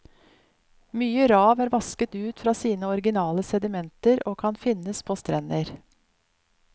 Mye rav er vasket ut fra sine originale sedimenter og kan finnes på strender.